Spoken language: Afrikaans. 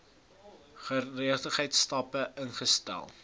geregtelike stappe ingestel